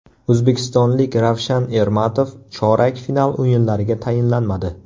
O‘zbekistonlik Ravshan Ermatov chorak final o‘yinlariga tayinlanmadi.